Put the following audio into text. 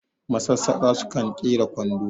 masassaka sukna kera kwando